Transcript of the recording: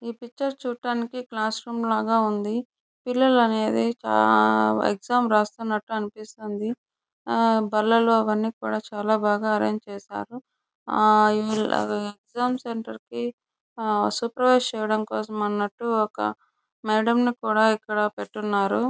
ఈ పిక్చర్ చూడడానికి class room లాగా ఉంది పిల్లలు అనేది చాలా ఎగ్జామ్ రాస్తూ ఉన్నట్టు అనిపిస్తుంది. ఆ బలలో అవన్నీ కూడా చాలా బాగా అరేంజ్ చేశారు. ఆ ఎగ్జామ్స్ సెంటర్ కి ఆ సూపర్వైజర్ చేయడం కోసం అన్నట్టు ఒక మేడం ని కూడా ఇక్కడపెట్టి ఉన్నారు.